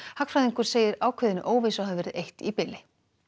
hagfræðingur segir ákveðinni óvissu hafi verið eytt í bili